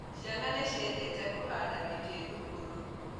Ciana nĩciendete kũhanda mĩtĩ thukuru